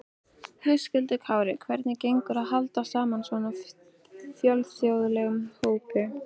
Höskuldur Kári: Hvernig gengur að halda saman svona fjölþjóðlegum hópi?